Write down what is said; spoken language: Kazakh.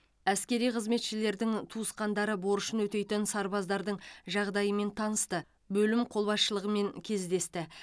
әскери қызметшілердің туысқандары борышын өтейтін сарбаздардың жағдайымен танысты бөлім қолбасшылығымен кездесті